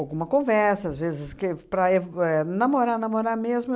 Alguma conversa, às vezes, que para eu v éh namorar, namorar mesmo.